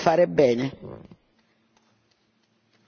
Bisogna fare presto e bisogna anche fare bene.